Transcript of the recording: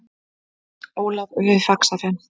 Ólaf við Faxafen.